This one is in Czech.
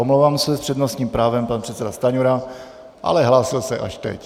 Omlouvám se, s přednostním právem pan předseda Stanjura, ale hlásil se až teď.